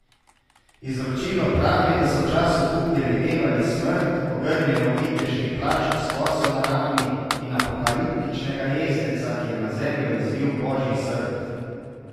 Izročilo pravi, da so v času kuge videvali smrt, ogrnjeno v viteški plašč s koso na rami in apokaliptičnega jezdeca, ki je na zemljo izlil božji srd.